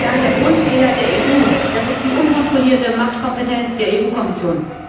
Meine Damen und Herren, der Grundfehler der EU ist die unkontrollierte Machtkompetenz der EU Kommission.